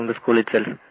from the school itself